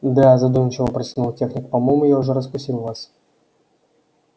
да задумчиво прочитал техник по-моему я уже раскусил вас